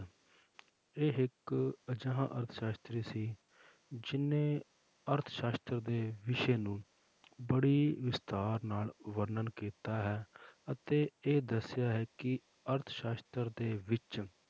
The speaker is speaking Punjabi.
ਇਹ ਇੱਕ ਅਜਿਹਾ ਅਰਥਸਾਸ਼ਤਰੀ ਸੀ ਜਿਹਨੇ ਅਰਥਸਾਸ਼ਤਰ ਦੇ ਵਿਸ਼ੇ ਨੂੰ ਬੜੀ ਵਿਸਥਾਰ ਨਾਲ ਵਰਣਨ ਕੀਤਾ ਹੈ ਅਤੇ ਇਹ ਦੱਸਿਆ ਹੈ ਕਿ ਅਰਥਸਾਸ਼ਤਰ ਦੇ ਵਿੱਚ